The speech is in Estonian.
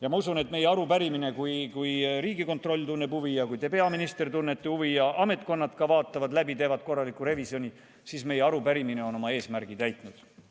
Ja ma usun, et meie arupärimine, kui Riigikontroll tunneb huvi ja kui teie, peaminister, tunnete huvi ja ametkonnad ka vaatavad läbi, teevad korraliku revisjoni, on oma eesmärgi täitnud.